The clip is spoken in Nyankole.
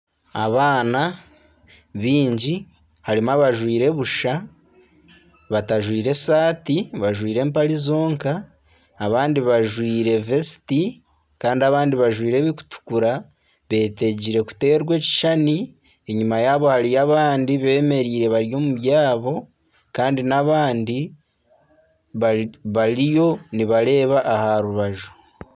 Abaana baingi harimu abajwaire busha batajwaire saati bajwaire empare zonka abandi bajwaire vesiti. Kandi abandi bajwaire eburikutukura beetegire kuteerwa ekishushani. Enyima hariyo abandi beemereire omu byabo kandi n'abandi bariyo nibareeba aha rubaju.